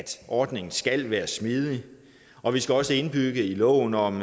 ordningen skal være smidig og vi skal også indbygge i loven om